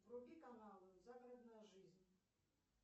вруби каналы загородная жизнь